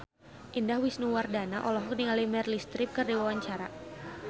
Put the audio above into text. Indah Wisnuwardana olohok ningali Meryl Streep keur diwawancara